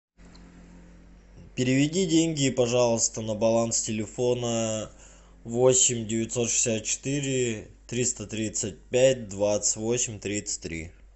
переведи деньги пожалуйста на баланс телефона восемь девятьсот шестьдесят четыре триста тридцать пять двадцать восемь тридцать три